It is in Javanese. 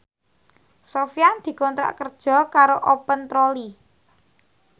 Sofyan dikontrak kerja karo Open Trolley